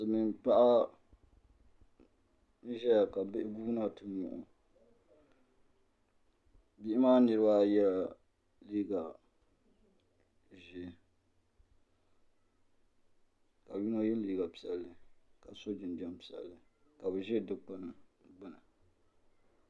Silmiin paɣa n ʒɛya ka bihi guuna ti tuho soli Bihi maa niraba ayi yɛla liiga ʒiɛ ka yino yɛ liiga piɛlli ka so jinjɛm piɛlli ka bi ʒi dikpuni gbuni